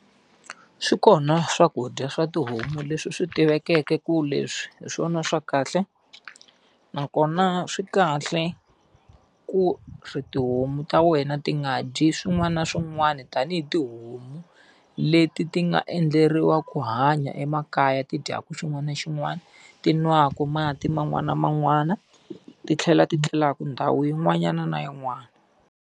Swi kona swakudya swa tihomu leswi swi tivekeke ku leswi hi swona swa kahle. Nakona swi kahle ku ri tihomu ta wena ti nga dyi swin'wana na swin'wana tanihi tihomu leti ti nga endleriwa ku hanya emakaya ti dyaka xin'wana na xin'wana, ti nwaka mati man'wana na man'wana ti tlhela ti tlelaka ndhawu yin'wanyana na yin'wana.